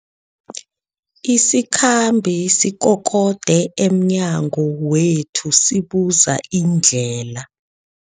Isikhambi sikokode emnyango wethu sibuza indlela.